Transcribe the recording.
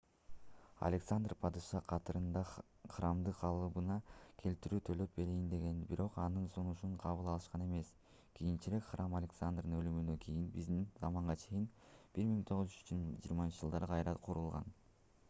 александр падыша катарында храмды калыбына келтирүүгө төлөп берейин деген бирок анын сунушун кабыл алышкан эмес кийинчерээк храм александрдын өлүмүнөн кийин биздин заманга чейин 323-жылдары кайра курулган